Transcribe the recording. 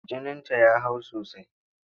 Jininta ya hau sosai.